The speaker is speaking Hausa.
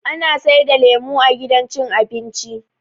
Ana saida lemo a gidan cin abinci